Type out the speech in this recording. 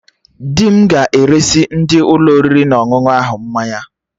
Dị m ga-eresị ndị Ụlọ oriri na ọṅụṅụ ahụ mmanya